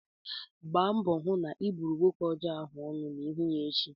Gbaa mbọ hụ na ị buru nwoke ọjọọ ahụ ọnụ ma ị hụ ya echi!